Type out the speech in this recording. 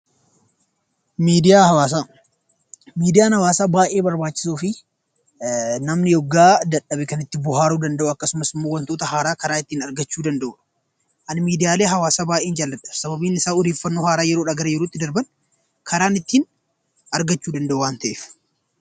Miidiyaa Hawwaasaa: Miidiyaan Hawwaasaa baay'ee barbaachisoo fi namni yeroo dadhabe kan itti bohaaruu danda’u akkasumas immoo wantoota haaraa karaa ittiin argachuu danda’u. Ani miidiyaalee hawwaasa baay'een jaalladha sababiin isaa odeeffannnoo haaraa yeroodhaa gara yerootti darban kan ittiin argachuu danda’u waan ta’eef.